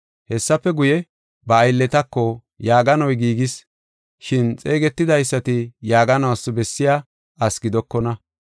Hessafe guye, ba aylletako, ‘Yaaganoy giigis, shin xeegetidaysati yaaganuwas bessiya asi gidokona.